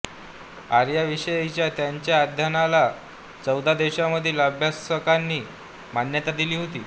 आर्यांविषयीच्या त्यांच्या अध्ययनाला चौदा देशांमधील अभ्यासकांनी मान्यता दिली होती